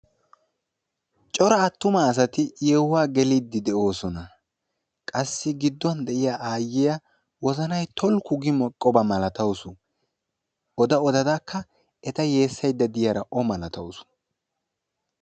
Cora attuma asati yehuwa gelide doosona. Qassi gidduwan de'iyaa aayyiya wozannay tolkku gi meqqobaa malaatawusu. Oda odaddakka eta yeessaydda diyaara O malataawus.